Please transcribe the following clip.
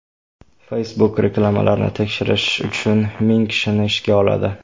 Facebook reklamalarni tekshirish uchun ming kishini ishga oladi.